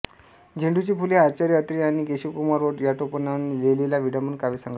झेंडूची फुले हा आचार्य अत्रे यांनी केशवकुमार या टोपणनावाने लिहीलेला विडंबन काव्यसंग्रह आहे